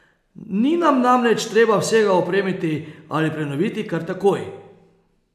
Ni nam namreč treba vsega opremiti ali prenoviti kar takoj.